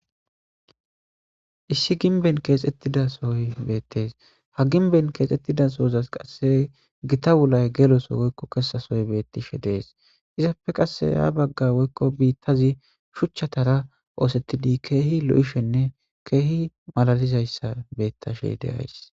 issi ginben keexettidasoy beettes ha ginben keexxettidasoozas qasse gita wulay geloso woykko kessasoy bettishe dees izapfe qasse ya bagga woykko biittazi shuchchatara oosettidi keehi lo7ishenne keehi malalizayssa beettashe deays